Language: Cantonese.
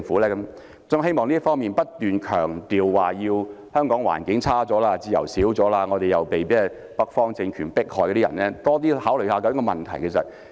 所以，在這方面，我希望不斷強調香港環境差了、自由少了、我們被北方政權迫害的人可以多考慮問題。